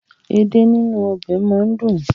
Èdè nínú ọbẹ̀ máa ń dùn.